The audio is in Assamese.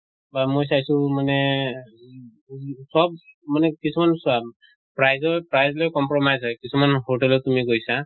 বা মই চাইছো মানে চব মানে কিছুমান চোৱা price ত price লৈ compromise হয় কিছুমান hotel ত তুমি গৈছা